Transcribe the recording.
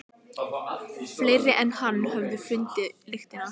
Fleiri en hann höfðu fundið lyktina.